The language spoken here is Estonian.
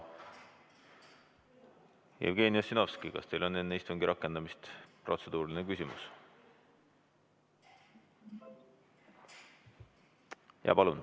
Jevgeni Ossinovski, kas teil on enne istungi rakendamist protseduuriline küsimus?